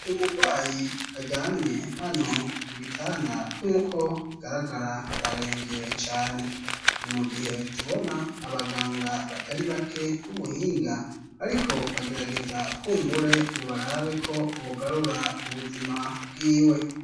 Uyu murwayi aryamye hano ku gitanda nkuko bigaragara ararenvye cane, ni mu gihe tubona abaganga batari bake b'ubuhinga ariko bagerageza kumbure ngo barabe ko bogarura ubuzima bwiwe.